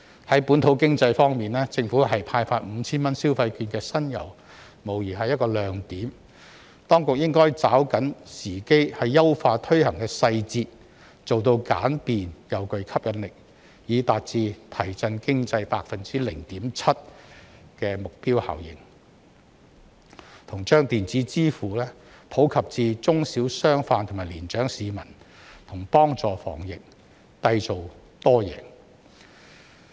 在本土經濟方面，政府派發 5,000 元消費券的新猷，無疑是一個亮點，當局應該抓緊時機優化推行細節，做到簡便及具吸引力，以達致提振經濟 0.7% 的目標效應，以及把電子支付普及至中小商販及年長市民和幫助防疫，締造多贏。